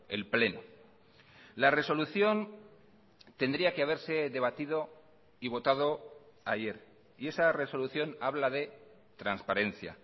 el pleno la resolución tendría que haberse debatido y votado ayer y esa resolución habla de transparencia